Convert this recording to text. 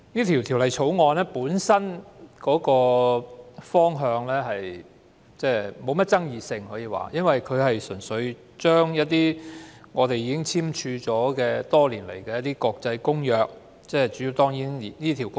《條例草案》本身沒有太大爭議性，因為純粹是要落實香港已簽署多年的《國際集裝箱安全公約》。